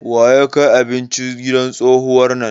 Wa ya kai abinci gidan tsohuwar nan?